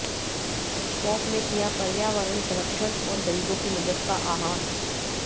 pope ने किया पर्यावरण संरक्षण और गरीबों की मदद का आह्वान